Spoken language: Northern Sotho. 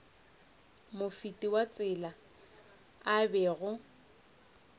mofeti wa tsela a bego